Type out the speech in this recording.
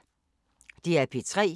DR P3